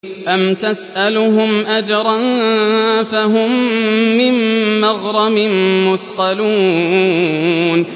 أَمْ تَسْأَلُهُمْ أَجْرًا فَهُم مِّن مَّغْرَمٍ مُّثْقَلُونَ